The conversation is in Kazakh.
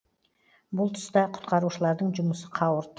бұл тұста құтқарушылардың жұмысы қауырт